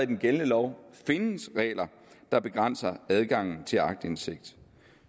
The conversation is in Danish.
den gældende lov findes regler der begrænser adgangen til aktindsigt